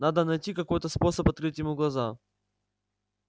надо найти какой-то способ открыть ему глаза